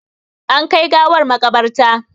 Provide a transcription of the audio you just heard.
An kai gawar maƙabarta.